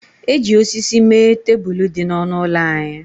E ji osisi mee tebụl dị n'ọnụ ụlọ anyị